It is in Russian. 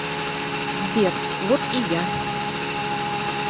сбер вот и я